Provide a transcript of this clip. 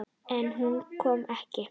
En hún kom ekki.